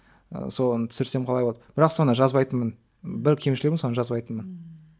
ыыы соны түсірсем қалай болады бірақ соны жазбайтынмын бір кемшілігім соны жазбайтынмын ммм